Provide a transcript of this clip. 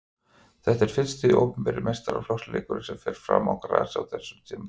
Þetta er fyrsti opinberi meistaraflokksleikurinn sem fer fram á grasi á þessu tímabili.